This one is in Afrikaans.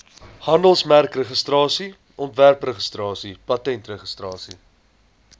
handelsmerkregistrasie ontwerpregistrasie patentregistrasie